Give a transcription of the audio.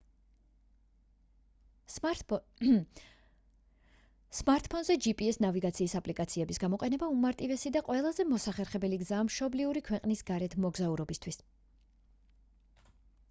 სმარტფონზე gps ნავიგაციის აპლიკაციების გამოყენება უმარტივესი და ყველაზე მოხერხებული გზაა მშობლიური ქვეყნის გარეთ მოგზაურობისთვის